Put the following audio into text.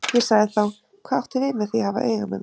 Ég sagði þá: Hvað áttu við með því að hafa auga með mér?